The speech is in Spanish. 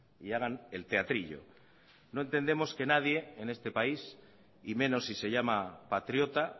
y hagan el teatrillo no entendemos que nadie en este país y menos si se llama patriota